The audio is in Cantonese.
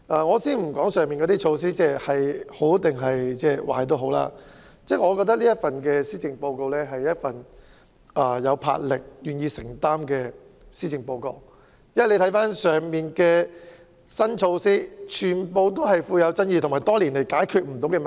我暫且不說上述措施孰好孰壞，但我覺得這是一份有魄力且願意承擔的施政報告，當中的新措施皆具有爭議性，亦是針對多年來無法解決的問題。